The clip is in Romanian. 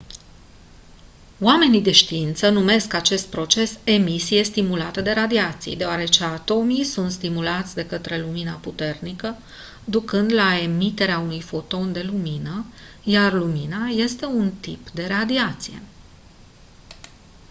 oamenii de știință numesc acest proces «emisie stimulată de radiații» deoarece atomii sunt stimulați de către lumina puternică ducând la emiterea unui foton de lumină iar lumina este un tip de radiație.